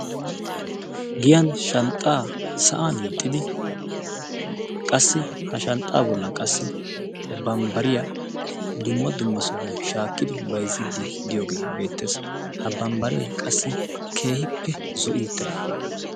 giyan shanxaa sa'an hiixidi qassi bambbariya dumma dumma sohuwan shaakki shaaki bayziidi diygee beetees, ha bambaree keehippe zo'i utIdaaga.